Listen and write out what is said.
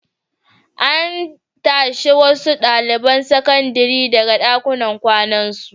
An tashi wasu ɗaliban sakandare daga ɗakunan kwanan su.